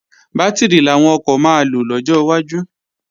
Bátìrì làwọn ọkọ̀ máa lò lọ́jọ́ iwájú